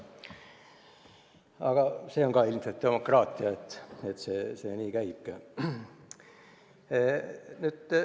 Aga see on ka ilmselt demokraatia, nii see käibki.